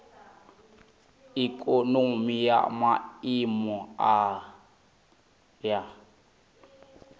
ikonomi ya maiimo a nha